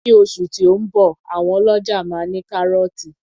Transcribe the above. Ní oṣù tí ó ń bọ̀ àwọn ọlọ́ja máa ní kárọ́tì